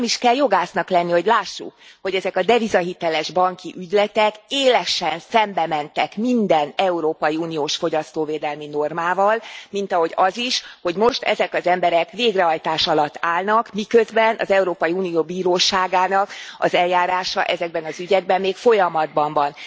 Nem is kell jogásznak lenni, hogy lássuk, hogy ezek a devizahiteles banki ügyletek élesen szembe mentek minden európai uniós fogyasztóvédelmi normával, mint ahogy az is, hogy most ezek az emberek végrehajtás alatt állnak, miközben az Európai Unió bíróságának eljárása ezekben az ügyekben még folyamatban van.